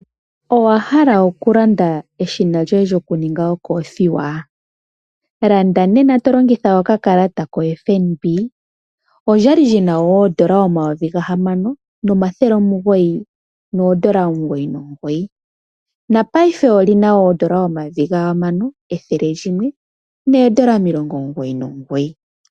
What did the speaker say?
Omahala okulanda eshina lyoku ninga okolothiwa. Landa nena tolongitha oka kalata ko FNB. Olya li lyina oodola dha Namibia omayovi ga hamano omathele omugoyi nomugoyi . Ngaashingeyi olina oodola omayovi ga hamano ethele limwe nomilongo omugoyi nomugoyi.